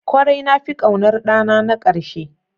Kwarai, na fi ƙaunar ɗana na ƙarshe.